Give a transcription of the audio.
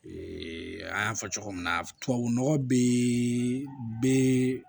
an y'a fɔ cogo min na tubabu nɔgɔ be